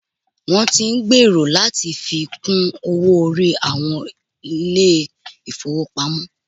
Wọn tí ń gbèrò láti fi kún owó orí àwọn ilé ìfọwọ́pamo.